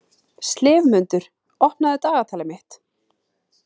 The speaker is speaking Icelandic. slefmundur, opnaðu dagatalið mitt.